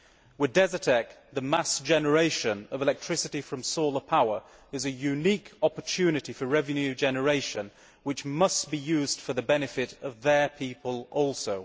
With Desertec the mass generation of electricity from solar power is a unique opportunity for revenue generation, which must be used for the benefit of their people also.